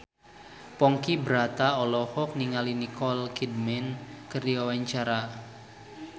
Ponky Brata olohok ningali Nicole Kidman keur diwawancara